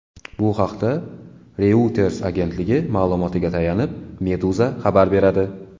Bu haqda Reuters agentligi ma’lumotiga tayanib, Meduza xabar beradi .